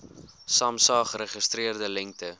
samsa geregistreerde lengte